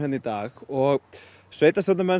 í dag og sveitastjórnarmenn